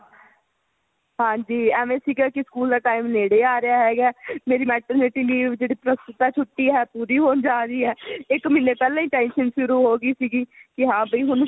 ਹਾਂਜੀ ਐਵੇ ਸੀਗਾ ਕੀ ਸਕੂਲ ਦਾ time ਨੇੜੇ ਆ ਰਿਹਾ ਹੈ ਹੇਗਾ ਮੇਰੀ Maternity leave ਜਿਹੜੀ ਪ੍ਰ੍ਸਤੁਤਾ ਛੁੱਟੀ ਹੈ ਪੂਰੀ ਹੋਣ ਜਾ ਰਹੀ ਹੈ ਇੱਕ ਮਹੀਨੇ ਪਹਿਲਾ ਹੀ tension ਸ਼ੁਰੂ ਹੋ ਗਈ ਸੀਗੀ ਕੀ ਹਾਂ ਵੀ ਹੁਣ